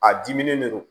A dimi de do